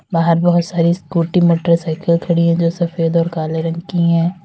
बाहर बहोत सारी स्कूटी मोटरसाइकल खड़ी हैं जो सफेद और काले रंग की हैं।